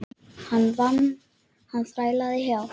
Hann vann, hann þrælaði hjá